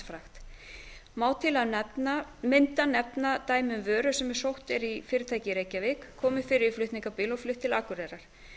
framhaldsfrakt má til að mynda nefna dæmi um vöru sem sótt er í fyrirtæki í reykjavík komið fyrir í flutningabíl og flutt til akureyrar